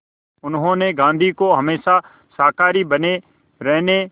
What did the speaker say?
उन्होंने गांधी को हमेशा शाकाहारी बने रहने